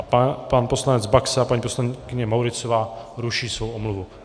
A pan poslanec Baxa a paní poslankyně Mauritzová ruší svou omluvu.